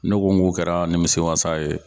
Ne ko n ko kɛra nimisi wasa ye.